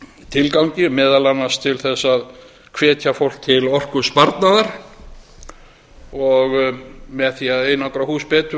tilgangi meðal annars til þess að hvetja fólk til orkusparnaðar og með því að einangra hús betur